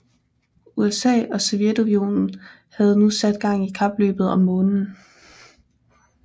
USA og Sovjetunionen havde nu sat gang i kapløbet om Månen